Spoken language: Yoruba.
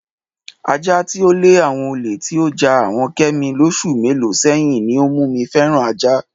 Aja tí ó le àwo̩n olè tí ó ja àwo̩n Ké̩mi lós̩ù mélòó sé̩yìn ní ó mú mi fé̩ran ajá.